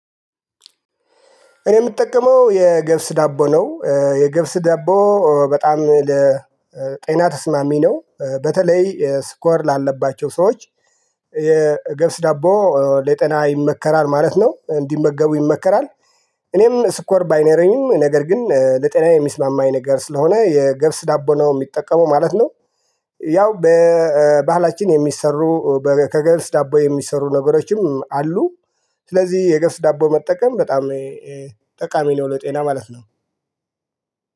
እኔ የምጠቀመው የገብስ ዳቦ ነው የገብስ ዳቦ በጣም ለጤና ተስማሚ ነው በተለይ ስኳር ላለባቸው ሰዎች። የገብስ ዳቦ ለጤና ይመከራል ማለት ነው እንዲመገቡ ይመከራል። እኔም ስኮር ባይነረኝም ነገር ግን ለጤና የሚስማማኝ ነገር ስለሆነ የገብስ ዳቦ ነው ምጠቀመው ማለት ነው። ያው በባህላችን የሚሰሩ ከገልስ ዳቦ የሚሰሩ ነገሮችም አሉ። ስለዚህ የገብስ ዳቦ መጠቀም በጣም ጠቃሚ ነው። ለጤና ማለት ነው